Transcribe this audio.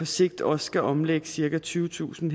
sigt også skal omlægge cirka tyvetusind